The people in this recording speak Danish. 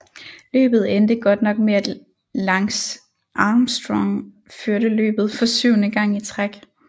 Løbet endte godt nok med at Lance Armstrong førte løbet for syvende gang i træk